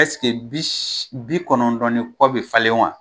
bi kɔnɔntɔn ni kɔ be falen wa ?